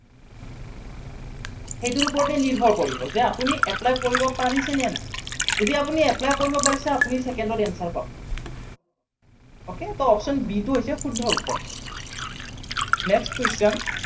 সেইটোৰ ওপৰতে নিৰ্ভৰ কৰিব যে আপুনি apply কৰিব পাৰিছেনে নাই। যদি আপুনি apply কৰিব পাৰিছে আপুনি second ত answer পাব okay, so option b টো হৈছে শুদ্ধ উত্তৰ। next question